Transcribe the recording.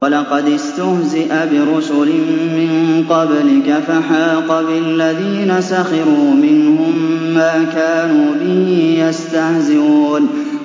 وَلَقَدِ اسْتُهْزِئَ بِرُسُلٍ مِّن قَبْلِكَ فَحَاقَ بِالَّذِينَ سَخِرُوا مِنْهُم مَّا كَانُوا بِهِ يَسْتَهْزِئُونَ